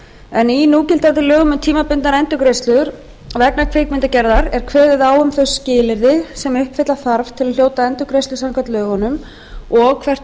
en í núgildandi lögum um tímabundnar endurgreiðslur vegna kvikmyndagerðar er kveðið á um þau skilyrði sem uppfylla þarf til að hljóta endurgreiðslu samkvæmt lögunum og hvert